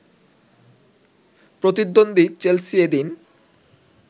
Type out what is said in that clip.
প্রতিদ্বন্দ্বি Chelsea এদিন